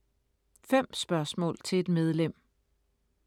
5 spørgsmål til et medlem